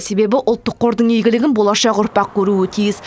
себебі ұлттық қордың игілігін болашақ ұрпақ көруі тиіс